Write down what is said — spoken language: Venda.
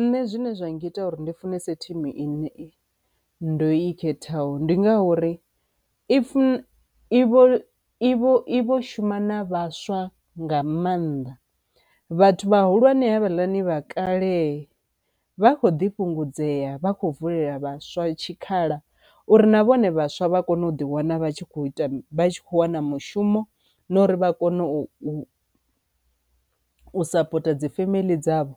Nṋe zwine zwa ngita uri ndi funese thimu ine ndo i khethaho ndi ngauri i i vho i vho i vho shuma na vhaswa nga maanḓa, vhathu vhahulwane havhaḽani vha kale vha kho ḓi fhungudzea vha kho vulela vhaswa tshikhala uri na vhone vhaswa vha kone u ḓi wana vha tshi kho ita vha tshi kho wana mushumo na uri vha kone u sapota dzi femeḽi dzavho.